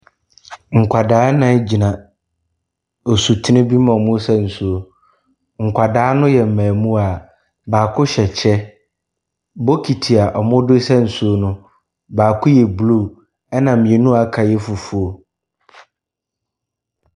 Nkwadaa nnan gyina osutene bi mu a wɔresa nsuo. Nkwadaa no yɛ mmamua, baako hyɛ kyɛ. Bokiti wɔde resa nsuo no, baako yɛ bluu ɛna mmienu a aka no yɛ fufu.